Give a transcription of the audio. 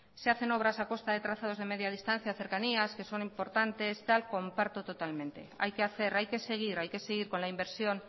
se hacen obras a costa de trazados de media distancia cercanías que son importantes comparto totalmente hay que hacer hay que seguir hay que seguir con la inversión